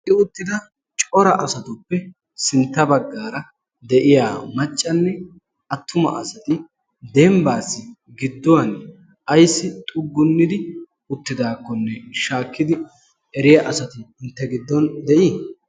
egi uttida cora asatuppe sintta baggaara de'iya maccanne attuma asati dembbaassi gidduwan ayssi xuggunnidi uttidaakkonne shaakkidi eriya asati intte giddon de'ii?